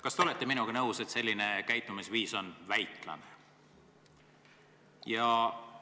Kas te olete minuga nõus, et selline käitumisviis on väiklane?